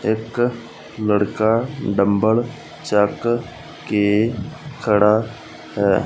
ਇੱਕ ਲੜਕਾ ਡੰਬਲ ਚੁੱਕ ਕੇ ਖੜਾ ਹੈ।